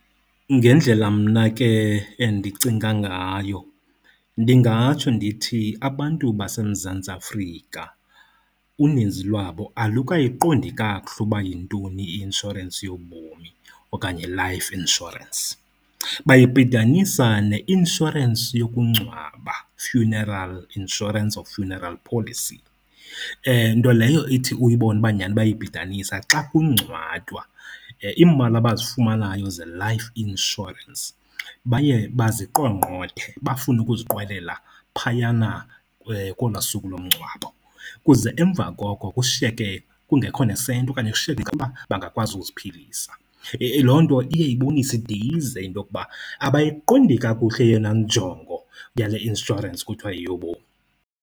Ngendlela mna ke endicinga ngayo ndingatsho ndithi abantu baseMzantsi Afrika uninzi lwabo alukayiqondi kakuhle ukuba yintoni i-inshorensi yobomi okanye life insurance. Bayibhidanisa neinshorensi yokungcwaba, funeral insurance or funeral policy, nto leyo ithi uyibone uba nyani bayayibhidanisa xa kungcwatywa. Iimali abazifumanayo ze-life insurance baye baziqongqothe, bafune ukuziqwelela phayana kolwaa suku lomngcwabo kuze emva koko kushiyeke kungekho nesenti okanye kushiyeke bangakwazi ukuziphilisa. Loo nto iye ibonise, ide ize into yokuba abayiqondi kakuhle eyona njongo yale inshorensi kuthiwa yeyobomi.